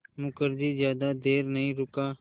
मुखर्जी ज़्यादा देर नहीं रुका